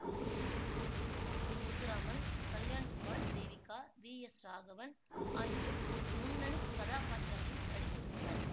இதில் Muthuraman Kalyankumar Devika V S Raghavan ஆகியோர் முன்னணி கதாபாத்திரங்களில் நடித்திருந்தனர்